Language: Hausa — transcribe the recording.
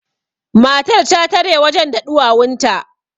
matar ta tare wajen da ɗuwawunta